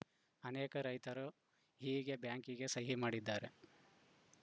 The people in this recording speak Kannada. ಅನೇಕ ರೈತರು ಹೀಗೆ ಬ್ಯಾಂಕಿಗೆ ಸಹಿ ಮಾಡಿದ್ದಾರೆ